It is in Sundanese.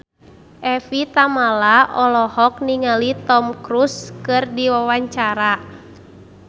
Evie Tamala olohok ningali Tom Cruise keur diwawancara